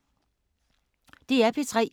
DR P3